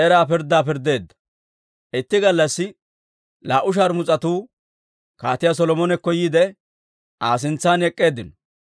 Itti gallassi laa"u shaarmus'atuu Kaatiyaa Solomonekko yiide, Aa sintsan ek'k'eeddinno.